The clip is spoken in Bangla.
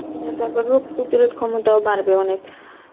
হ্যাঁ তারপরে রোগ প্রতিরোধ ক্ষমতাও বাড়বে অনেক